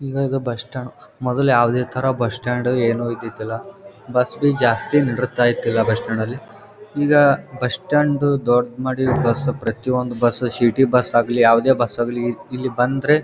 ಈವಾಗ bus stand ಮೊದ್ಲ ಯಾವದೇ ತರ ಬಸ್ ಸ್ಟಾಂಡ್ ಏನು ಇದಿದಿಲ್ಲಾ ಬಸ್ ಬಿ ಜಾಸ್ತಿ ಬಸ್ ಸ್ಟಾಂಡ್ ಅಲ್ಲಿ ಈಗ ಬಸ್ ಸ್ಟಾಂಡ್ ದು ದೊಡ್ಡದ್ ಮಾಡಿ ಬಸ್ ಪ್ರತಿಯೊಂದು ಬಸ್ ಸಿಟಿ ಬಸ್ ಆಗ್ಲಿ ಯಾವದೇ ಬಸ್ ಆಗ್ಲಿ ಇಲ್ಲಿ ಬಂದ್ರೆ.